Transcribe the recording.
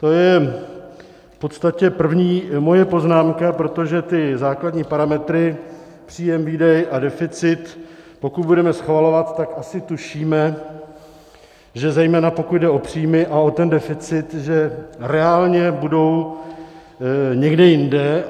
To je v podstatě první moje poznámka, protože ty základní parametry, příjem, výdej a deficit, pokud budeme schvalovat, tak asi tušíme, že zejména pokud jde o příjmy a o ten deficit, že reálně budou někde jinde.